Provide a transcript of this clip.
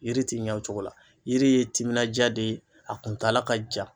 Yiri ti ɲɛ o cogo la yiri ye timinanja de ye a kuntala ka jan